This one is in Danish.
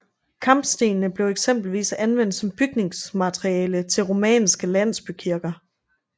Kampestenene blev eksempelvis anvendt som bygningsmateriale til romanske landsbykirker